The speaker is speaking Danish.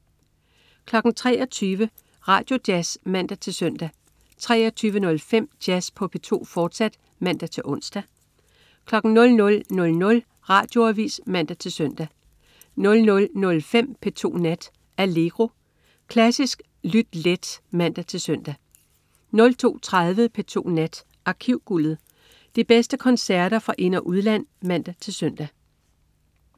23.00 Radioavis (man-søn) 23.05 Jazz på P2, fortsat (man-ons) 00.00 Radioavis (man-søn) 00.05 P2 Nat. Allegro. Klassisk lyt let (man-søn) 02.30 P2 Nat. Arkivguldet. De bedste koncerter fra ind- og udland (man-søn)